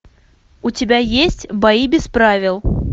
у тебя есть бои без правил